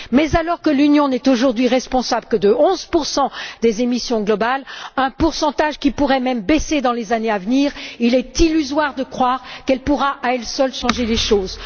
Mais alors que l'Union n'est aujourd'hui responsable que de 11 des émissions mondiales, pourcentage qui pourrait même baisser dans les années à venir, il est illusoire de croire qu'elle pourra, à elle seule, changer les choses.